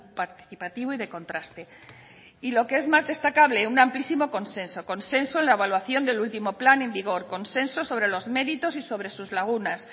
participativo y de contraste y lo que es más destacable un amplísimo consenso consenso en la evaluación del último plan en vigor consenso sobre los méritos y sobre sus lagunas